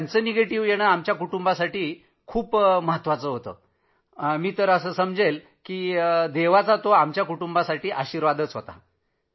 तो आमच्यासाठी आमच्या कुटुंबासाठी त्यावेळी माझ्या आसपास होते त्या सर्वासाठी सर्वात मोठं वरदान होतं